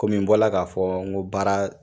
Kɔmi n bɔra k'a fɔ n ko baara